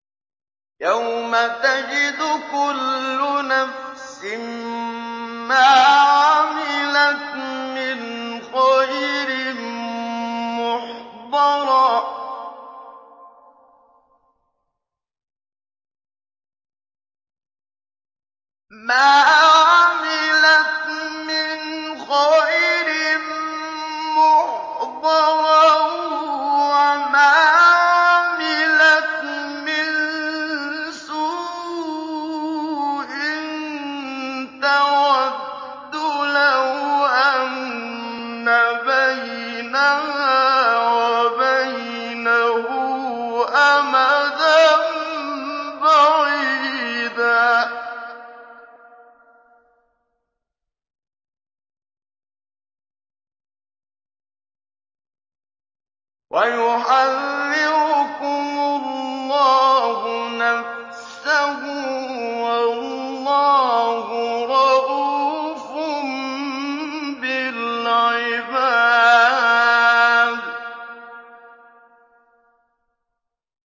يَوْمَ تَجِدُ كُلُّ نَفْسٍ مَّا عَمِلَتْ مِنْ خَيْرٍ مُّحْضَرًا وَمَا عَمِلَتْ مِن سُوءٍ تَوَدُّ لَوْ أَنَّ بَيْنَهَا وَبَيْنَهُ أَمَدًا بَعِيدًا ۗ وَيُحَذِّرُكُمُ اللَّهُ نَفْسَهُ ۗ وَاللَّهُ رَءُوفٌ بِالْعِبَادِ